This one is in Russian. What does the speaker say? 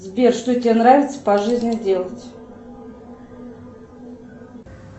сбер что тебе нравится по жизни делать